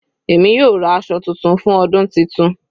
Èmi yóò ra aṣọ titun fún ọdún titun.